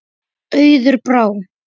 Auður Brá.